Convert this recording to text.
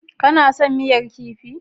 Ka na son miyar kifi?